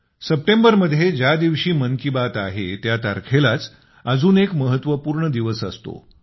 September मध्ये ज्या दिवशी मन की बात आहे त्या तारखेलाच अजून एक महत्त्वपूर्ण दिवस असतो